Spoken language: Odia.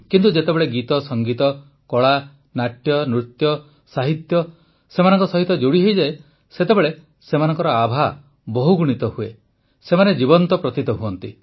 କିନ୍ତୁ ଯେତେବେଳେ ଗୀତସଙ୍ଗୀତ କଳା ନାଟ୍ୟନୃତ୍ୟ ସାହିତ୍ୟ ସେମାନଙ୍କ ସହିତ ଯୋଡ଼ିହୁଏ ସେତେବେଳେ ସେମାନଙ୍କର ଆଭା ବହୁଗୁଣିତ ହୁଏ ସେମାନେ ଜୀବନ୍ତ ପ୍ରତୀତ ହୁଅନ୍ତି